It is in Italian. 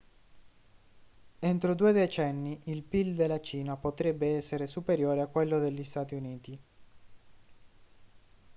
entro due decenni il pil della cina potrebbe essere superiore a quello degli stati uniti